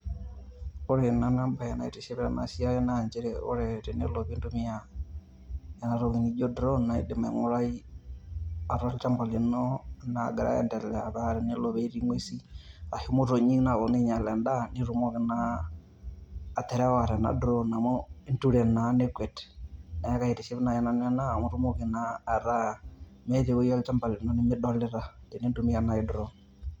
Ore nanu ebae naitiship tenasiai, na njere tenelo pintumia enatoki nijo drone, naidim aing'urai atua olchamba lino nagira aiendelea, pa tenelo petii ng'uesin, ashu motonyik naponu ainyal endaa, nitumoki naa aterewa tena drone amu inture naa nekwet. Neeku kaitiship nai nanu ena amu itumoki naa ataa meeta ewoi olchamba lino limidolita tinintumia nai drone.